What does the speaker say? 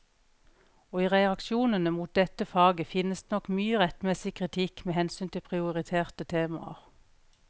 Og i reaksjonene mot dette faget finnes det nok mye rettmessig kritikk med hensyn til prioriterte temaer.